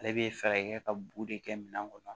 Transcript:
Ale bɛ fɛɛrɛ kɛ ka bugu de kɛ minɛn kɔnɔ